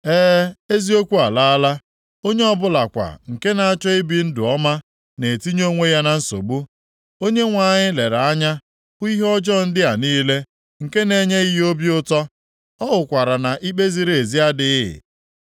E, eziokwu alaala; onye ọbụla kwa nke na-achọ ibi ndụ ọma na-etinye onwe ya na nsogbu. Onyenwe anyị lere anya hụ ihe ọjọọ ndị a niile, nke na-enyeghị ya obi ụtọ; ọ hụkwara na ikpe ziri ezi adịghị.